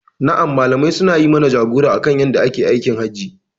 Na'am Malamai suna yi mana jagora akan yadda ake aikin hajji.